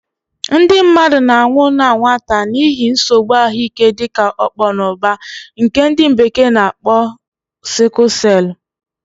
Ndị mmadụ na-anwụ na nwata n'ihi nsogbu ahụike dịka ọkpọnọbar, nke ndi bekee na akpo sickle celu